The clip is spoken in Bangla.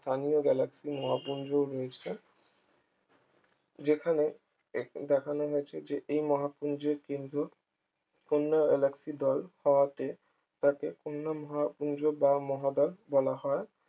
স্থানীয় galaxy মহাপুঞ্জও রয়েছে যেখানেই দেখ দেখানো হয়েছে যে এই মহাপুঞ্জ এর কিন্তু অন্য galaxy দল হওয়াতে তাকে ঘূর্ণন হওয়াপুঞ্জ বা মহাদল বলা হয়